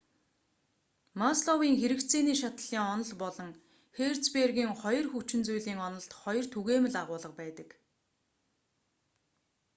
масловын хэрэгцээний шатлалын онол болон херцбергийн хоёр хүчин зүйлийн онолд хоёр түгээмэл агуулга байдаг